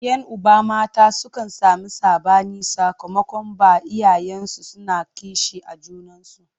Yan uba mata sukan sami saɓani sakamakon ba iyayensu suna kishi a junansu.